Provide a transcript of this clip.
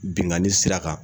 Binkanni sira kan